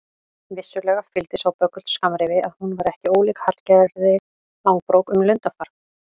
Vissulega fylgdi sá böggull skammrifi að hún var ekki ólík Hallgerði Langbrók um lundarfar.